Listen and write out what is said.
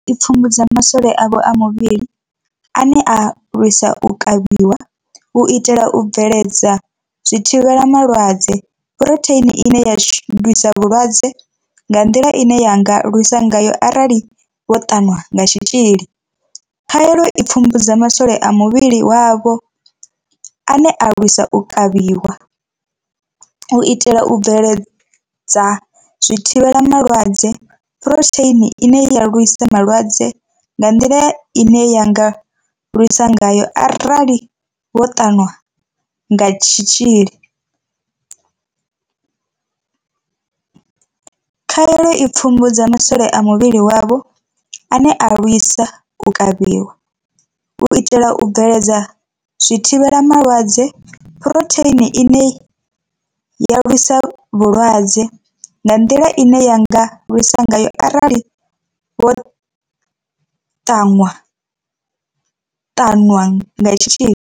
I pfumbudza ma swole a muvhili wavho ane a lwisa u kavhiwa, u itela u bveledza zwithivhela malwadze phurotheini ine ya lwisa vhulwadze nga nḓila ine ya nga lwisa ngayo arali vho ṱanwa kha tshitzhili. Khaelo i pfumbudza ma swole a muvhili wavho ane a lwisa u kavhiwa, u itela u bveledza zwithivhela malwadze phurotheini ine ya lwisa vhulwadze nga nḓila ine ya nga lwisa ngayo arali vho ṱanwa kha tshitzhili. Khaelo i pfumbudza ma swole a muvhili wavho ane a lwisa u kavhiwa, u itela u bveledza zwithivhela malwadze phurotheini ine ya lwisa vhulwadze nga nḓila ine ya nga lwisa ngayo arali vho ṱanwa ṱanwa ṱanwa nga tshitzhili.